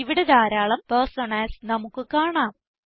ഇവിടെ ധാരാളം പെർസോണാസ് നമുക്ക് കാണാം